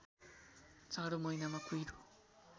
जाडो महिनामा कुहिरो